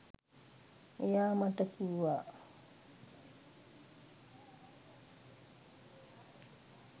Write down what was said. එයා මට කිව්වා